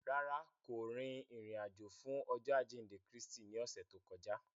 Rárá, ko rin irin-ajo fun Ọjọ ajinde Kristi ni ọsẹ to kọja.